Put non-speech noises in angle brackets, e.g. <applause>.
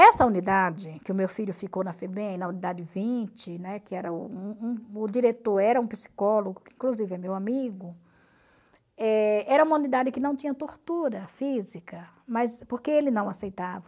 Essa unidade, que o meu filho ficou na Febem, na unidade vinte, né, que era <unintelligible> o diretor era um psicólogo, que inclusive é meu amigo, eh era uma unidade que não tinha tortura física, mas porque ele não aceitava.